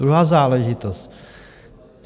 Druhá záležitost.